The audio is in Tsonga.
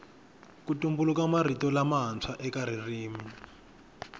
ku tumbuluka mirito matswa eka ririmi